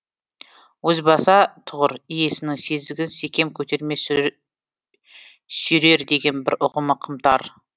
озбаса тұғыр иесінің сезігін секем көтерме сүйрер деген бір ұғымы қымтар